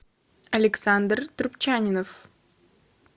александр трубчанинов